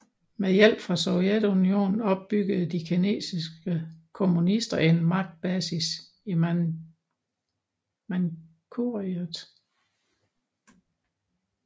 Med hjælp fra Sovjetunionen opbyggede de kinesiske kommunister en magtbasis i Manchuriet